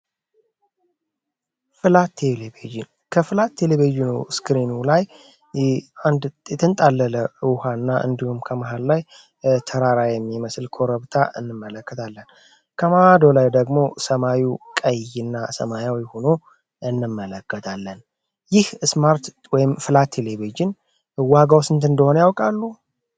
ከፍላት ቴሌቤዥኖ ስክሬኑ ላይ አንትንጣለለ ውሃ እና እንዲውም ከመሃል ላይ ተራራ የሚመስል ኮረብታ እንመለክታለን ከማዶ ላይ ደግሞ ሰማዩ ቀይ እና ሰማያው ይሆኖ እንመለገዳለን ይህ ስማርት ወይም ፍላት ቴሌቤዥን ዋጋው ስንት እንደሆነ ያውቃሉ?